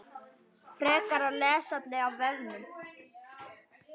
Frekara lesefni af vefnum